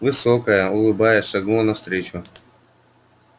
высокая улыбаясь шагнула навстречу